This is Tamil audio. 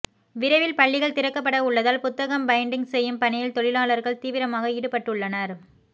விரைவில் பள்ளிகள் திறக்கப்பட உள்ளதால் புத்தகம் பைன்டிங் செய்யும் பணியில் தொழிலாளர்கள் தீவிரமாக ஈடுபட்டுள்ளனர்